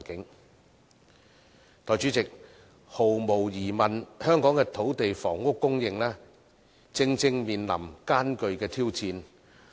代理主席，毫無疑問，香港的土地和房屋供應正面臨艱巨挑戰。